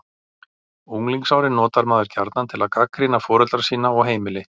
Unglingsárin notar maður gjarnan til að gagnrýna foreldra sína og heimili.